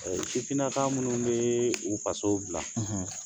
Sifinnaka minnu bɛ u faso bila